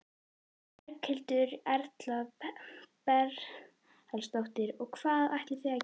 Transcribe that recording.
Berghildur Erla Bernharðsdóttir: Og hvað ætlið þið að gera?